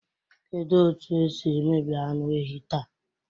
Kedu otu esi emebi anụ ehi taa?